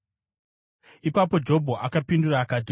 Ipapo Jobho akapindura akati: